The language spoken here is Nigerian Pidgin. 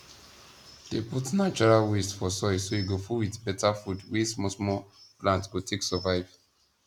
dey put natural waste for soil so e go full with beta food wey small small plant go take survive